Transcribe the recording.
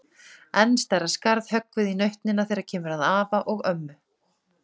Enn stærra skarð höggvið í nautnina þegar kemur að afa og ömmu.